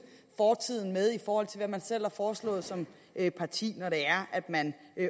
fortiden med i forhold til hvad man selv har foreslået som parti når man